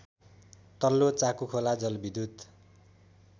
तल्लो चाकुखोला जलविद्युत